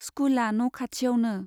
स्कुला न' खाथियावनो।